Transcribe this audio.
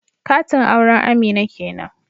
Katin auren Amina kenan